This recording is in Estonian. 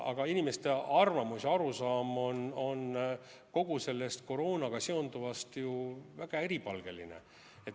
Aga inimeste arvamus ja arusaam on kogu sellest koroonaga seonduvast ju väga eripalgeline.